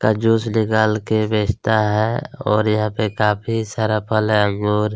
--का जूस निकाल के बेचता है और यहाँ पे काफ़ी सारा फल योर--